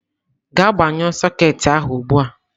Gaa gbanyụọ soketị ahụ ugbu a